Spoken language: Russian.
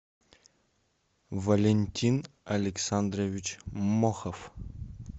валентин александрович мохов